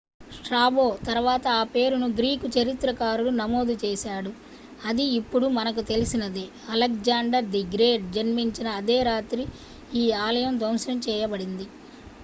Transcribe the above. Strabo తర్వాత ఆ పేరును గ్రీకు చరిత్రకారుడు నమోదు చేశాడు అది ఇప్పుడు మనకు తెలిసినదే అలెగ్జాండర్ ది గ్రేట్ జన్మించిన అదే రాత్రి ఈ ఆలయం ధ్వంసం చేయబడింది